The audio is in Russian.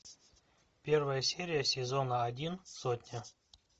первая серия сезона один сотня